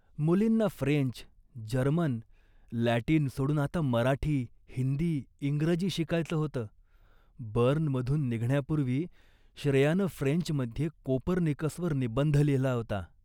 मुलींना French, German, Latin सोडून आता मराठी, हिंदी, इंग्रजी शिकायचं होतं. बर्नमधून निघण्यापूर्वी श्रेयानं फ्रेंचमध्ये कोपर्निकसवर निबंध लिहिला होता